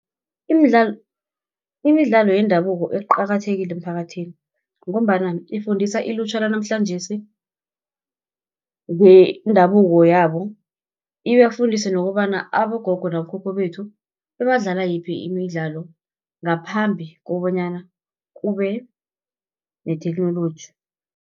Imidlalo yendabuko eqakathekile emphakathini, ngombana ifundisa ilutjha lanamhlanjesi, ngendabuko yabo. Ibafundise nokobana abogogo namakhokho bethu bebadlala yiphi imidlalo, ngaphambi kobanyana kube netheknoloji.